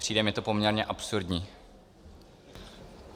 Přijde mi to poměrně absurdní.